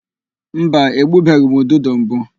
Mba, egbubeghị m ududo mbụ.